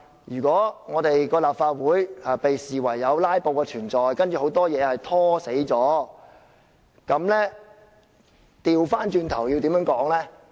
如果立法會被視為有"拉布"的存在，把很多問題"拖死"了，倒過來要怎樣說呢？